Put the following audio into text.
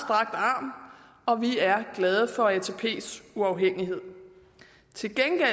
arm og vi er glade for atps uafhængighed til gengæld er